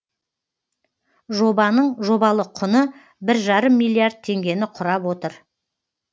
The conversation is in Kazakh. жобаның жобалық құны бір жарым миллиард теңгені құрап отыр